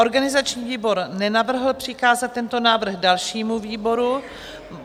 Organizační výbor nenavrhl přikázat tento návrh dalšímu výboru.